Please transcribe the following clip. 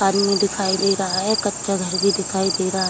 आदमी दिखाई दे रहा है | कच्चा घर भी दिखाई दे रहा है |